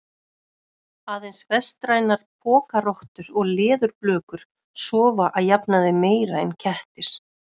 Aðeins vestrænar pokarottur og leðurblökur sofa að jafnaði meira en kettir.